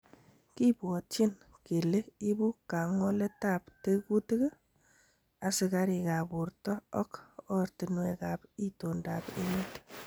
Kibwotyin kele ibu kang'oletab tekutik, asikarikab borto ok oratinwekab itondab emet.